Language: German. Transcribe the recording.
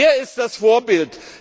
Der ist das Vorbild!